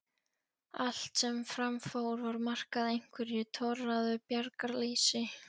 Allt sem fram fór var markað einhverju torráðu bjargarleysi.